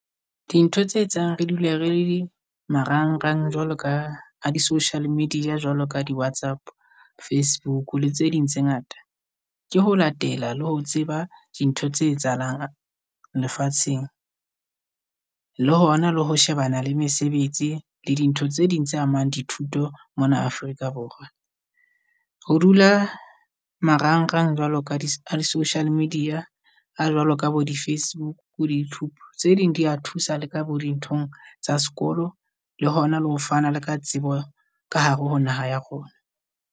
Dintho tse etsang re dule re le di marangrang jwalo ka a di-social media. Jwalo ka di WhatsApp, Facebook le tse ding tse ngata. Ke ho latela le ho tseba di ntho tse etsahalang lefatsheng. Le hona le ho shebana le mesebetsi le di ntho tse ding tse amang dithuto mona Afrika Borwa. Ho dula marangrang jwalo ka di-social media, a jwalo ka bo di Facebook, di-YouTube. Tse ding di ya thusa le ka bo di ntho tsa sekolo. Le ho na le ho fana le ka tsebo ka hare ho naha ya rona.